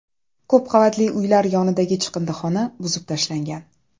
Ko‘p qavatli uylar yonidagi chiqindixona buzib tashlangan.